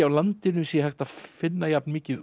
á landinu sé að finna jafn mikið